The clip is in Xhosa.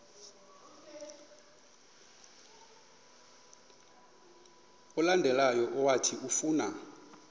olandelayo owathi ufuna